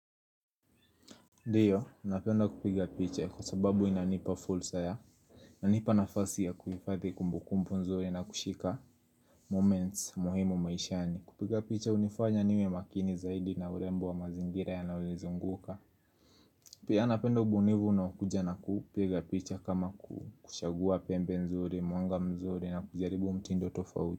Ndio, napenda kupiga picha kwa sababu inanipa fursa ya iNanipa nafasi ya kuhifadhi kumbukumbu nzuri na kushika moments muhimu maishani. Kupiga picha hunifanya niwe makini zaidi na urembo wa mazingira yanayonizunguka Pia napenda ubunifu unaokuja na kupiga picha kama kuchagua pembe nzuri, mwanga mzuri na kujaribu mtindo tofauti.